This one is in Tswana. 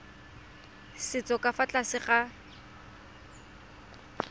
setso ka fa tlase ga